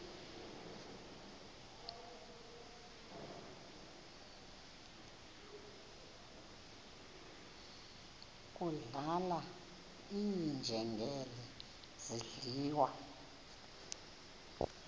kudlala iinjengele zidliwa